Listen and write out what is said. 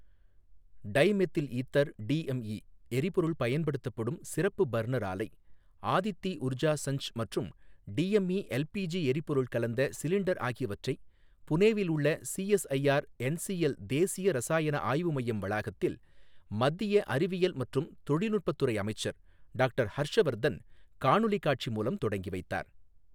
Tie methyl ether DME எரிபொருள் பயன்படுத்தப்படும் சிறப்பு பர்னர் ஆலை ஆதித்தி உர்ஜா சஞ்ச் மற்றும் டிஎம்இ எல்பிஜி எரிபொருள் கலந்த சிலிண்டர் ஆகியவற்றை புனேவில் உள்ள சிஎஸ்ஐஆர் என்சில் சேிய ரசாயண ஆய்வு மையம் வளாகத்தில், மத்திய அறிவியல் மற்றும் தொழில்நுட்ப துறை அமைச்சர் டாக்டர் ஹர்ஷ் வர்தன் காணொலி காட்சி மூலம் தொடங்கி வைத்தார்.